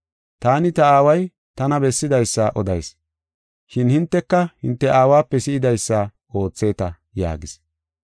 Taani ta Aaway tana bessidaysa odayis, shin hinteka hinte aawape si7idaysa ootheeta” yaagis.